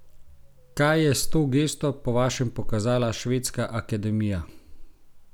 Kaj je s to gesto po vašem pokazala Švedska akademija?